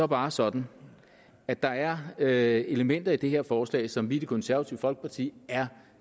bare sådan at der er er elementer i det her forslag som vi i det konservative folkeparti er